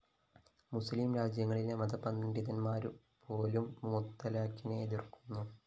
മുസ്ലീം രാജ്യങ്ങളിലെ മതപണ്ഡിതന്മാരുപോലും മുത്തലാഖിനെ എതിര്‍ക്കുന്നു